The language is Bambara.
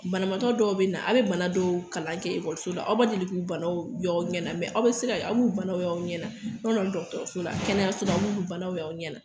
Banamatɔ dɔw be na aw be bana dɔw kalan kɛ ekɔliso la aw ma deli k'u ye aɲɛ na aw be se ka aw b'u aw ɲɛnatɔla kɛnɛyau aw ɲɛna